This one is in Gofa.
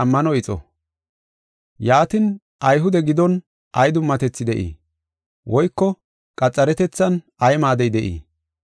Yaatin, Ayhude giddon ay dummatethi de7ii? Woyko qaxaretethan ay maadey de7ii?